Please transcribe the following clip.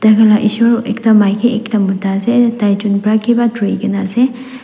taikan laga esor ekta maike ekta mota ase taichun bara kiba ekta turikina ase.